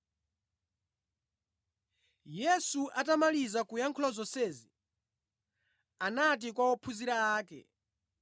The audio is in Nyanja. Yesu atamaliza kuyankhula zonsezi, anati kwa ophunzira ake,